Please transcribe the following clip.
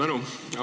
Suur tänu!